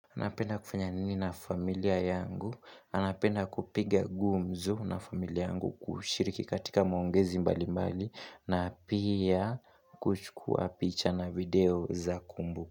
Anapenda kufanya nini na familia yangu, anapenda kupiga gumzo na familia yangu kushiriki katika maongezi mbali mbali na pia kuchukua picha na video za kumbu.